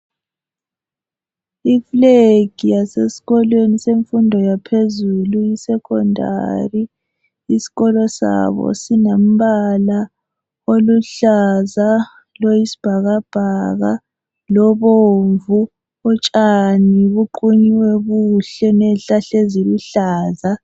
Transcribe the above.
Iflegi yaseskolweni semfundo yaphezulu, iSecondary. Isikolo sabo sinembala oluzaza, loyisibhakabhaka lobomvu. Utshani buqunyiwe buhle neyihlahla eziluhlaza.